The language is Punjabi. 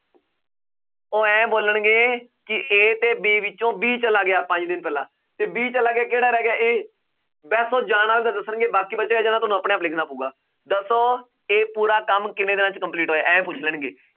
ਉਹ ਇਉਂ ਬੋਲਣਗੇ ਕਿ a ਤੇ b ਵਿੱਚੋਂ b ਚਲਾ ਗਿਆ ਪੰਜ ਦਿਨ ਪਹਿਲਾਂ ਤੇ b ਚਲਾ ਗਿਆ ਕਿਹੜਾ ਰਹਿ ਗਿਆ a ਬਸ ਉਹ ਜਾਣ ਵਾਲੇ ਦਾ ਦੱਸਣਗੇ ਬਾਕੀ ਬਚਿਆ ਜਿਹੜਾ ਤੁਹਾਨੂੰ ਆਪਣੇ ਆਪ ਲਿਖਣਾ ਪਊਗਾ, ਦੱਸੋ ਇਹ ਪੂਰਾ ਕੰਮ ਕਿੰਨੇ ਦਿਨਾਂ 'ਚ complete ਹੋਇਆ ਇਉਂ ਪੁੱਛ ਲੈਣਗੇ